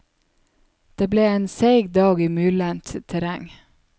Det ble en seig dag i myrlendt terreng.